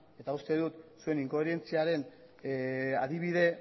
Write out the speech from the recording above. eta uste dut zuen inkoherentziaren adibide